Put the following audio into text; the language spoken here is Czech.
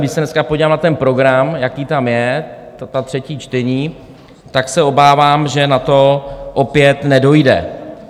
Když se dneska podívám na ten program, jaký tam je, ta třetí čtení, tak se obávám, že na to opět nedojde.